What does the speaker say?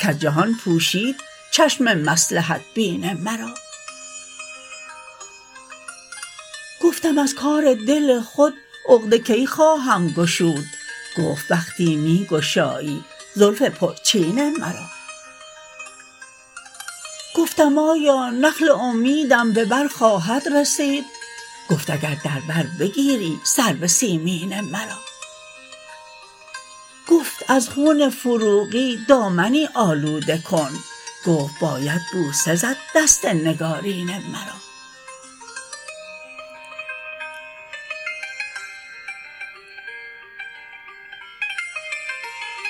کز جهان پوشید چشم مصلحت بین مرا گفتم از کار دل خود عقده کی خواهم گشود گفت وقتی می گشایی زلف پرچین مرا گفتم آیا نخل امیدم به بر خواهد رسید گفت اگر در بر بگیری سرو سیمین مرا گفتم از خون فروغی دامنی آلوده کن گفت باید بوسه زد دست نگارین مرا